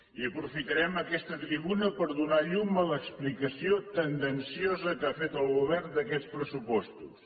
i aprofitarem aquesta tribuna per donar llum a l’explicació tendenciosa que ha fet el govern d’aquests pressupostos